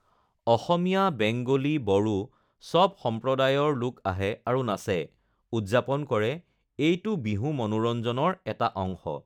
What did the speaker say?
অসমীয়া, Bengali, Bodo, সব সম্প্ৰদায়ৰ লোক আহে আৰু নাচে, উদযাপন কৰে, এইটো বিহু মনোৰঞ্জনৰ এটা অংশ